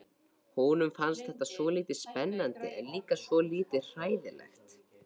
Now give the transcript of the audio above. Honum fannst þetta svolítið spennandi en líka svolítið hræðilegt.